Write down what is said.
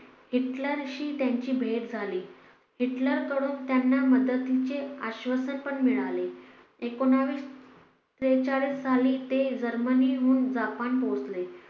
हिटलरशी त्यांची भेट झाली हिटलर कडून त्यांना मदतीचे आश्वासन पण मिळाले. एकोणविशे त्रेचाळीस साली ते जर्मनी हुन जपान पोहचले